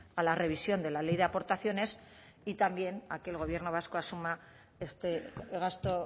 a la revisión de la ley de aportaciones y también a que el gobierno vasco asuma este gasto